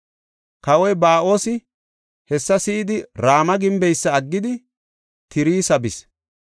Kawoy Ba7oosi hessa si7idi, Rama gimbeysa aggidi Tirsa bis.